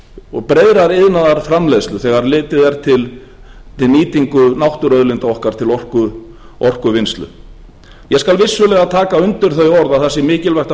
og breiðrar iðnaðarframleiðslu þegar litið er til nýtingar náttúruauðlinda okkar til orkuvinnslu ég skal vissulega taka undir þau orð að það sé mikilvægt að